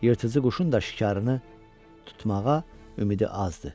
Yırtıcı quşun da şikarını tutmağa ümidi azdır.